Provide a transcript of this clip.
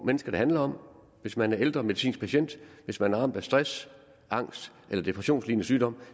mennesker det handler om for hvis man er ældre medicinsk patient hvis man er ramt af stress angst eller depressionslignende sygdom